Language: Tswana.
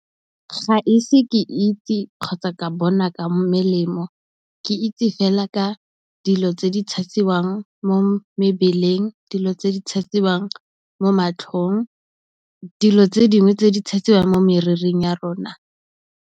Ga ise ke itse kgotsa ka bona ka melemo, ke itse fela ka dilo tse di tshasiwang mo mebeleng, dilo tse di tshasiwang mo matlhong, dilo tse dingwe tse di tshasiwang mo moriring ya rona.